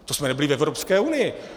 To jsme nebyli v Evropské unii.